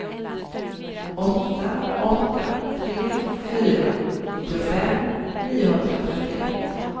åtta åtta tre fyra nittiofem niohundratrettioett